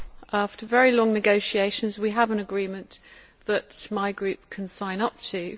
After very long negotiations, we have an agreement that my group can sign up to.